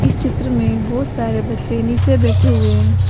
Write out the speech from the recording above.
इस चित्र में बहोत सारे बच्चे नीचे बैठे हुए हैं।